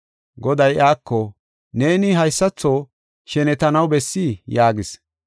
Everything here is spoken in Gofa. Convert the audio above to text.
Goday iyako, “Neeni haysatho shenetanaw bessii?” yaagis.